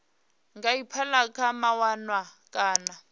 nga aphila kha mawanwa kana